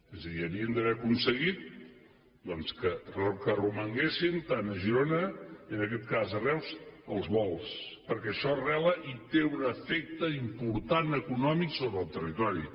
és a dir havien d’haver aconseguit doncs que romanguessin tant a girona i en aquests cas a reus els vols perquè això arrela i té un efecte important econòmic sobre el territori